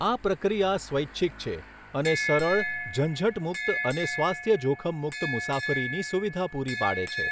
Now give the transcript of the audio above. આ પ્રક્રિયા સ્વૈચ્છિક છે, અને સરળ, ઝંઝટ મુક્ત અને સ્વાસ્થ્ય જોખમ મુક્ત મુસાફરીની સુવિધા પૂરી પાડે છે.